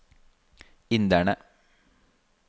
inderne